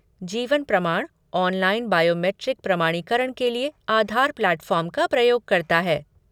जीवन प्रमाण, online biometric प्रमाणीकरण के लिए आधार प्लेटफ़ॉर्म का प्रयोग करता है।